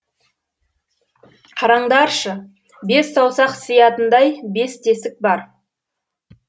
қараңдаршы бес саусақ сиятындай бес тесік бар